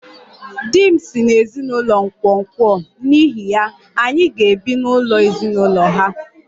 Di m si n'ezinụlọ nkwonkwo, n'ihi ya, anyị ga-ebi n'ụlọ ezinụlọ ha